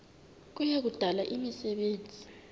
kuya kudala imisebenzi